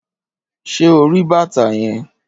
Ṣé ori bàtà yẹn?